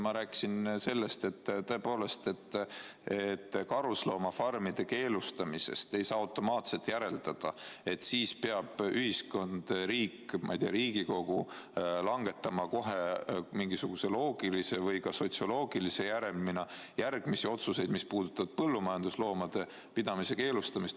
Ma rääkisin sellest, et karusloomafarmide keelustamisest ei saa automaatselt järeldada, et siis peab ühiskond, riik, ma ei tea, Riigikogu, langetama kohe mingisuguse loogilise või ka sotsioloogilise järelmina järgmisi otsuseid, mis puudutavad põllumajandusloomade pidamise keelustamist.